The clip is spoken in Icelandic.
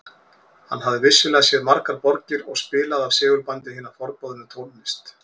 Hann hafði vissulega séð margar borgir og spilaði af segulbandi hina forboðnu tónlist